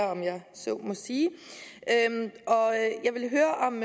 så må sige jeg ville høre om